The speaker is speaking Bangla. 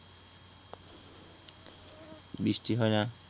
বৃষ্টি হয় না